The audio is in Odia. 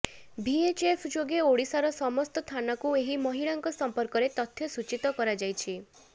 ଭିଏଚ୍ଏଫ୍ ଯୋଗେ ଓଡ଼ିଶାର ସମସ୍ତ ଥାନାକୁ ଏହି ମହିଳାଙ୍କ ସମ୍ପର୍କରେ ତଥ୍ୟ ସୂଚୀତ କରାଯାଇଛି